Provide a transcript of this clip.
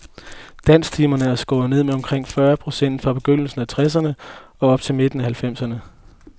Dansktimerne er skåret ned med omkring fyrre procent fra begyndelsen af tresserne op til midten af halvfemserne.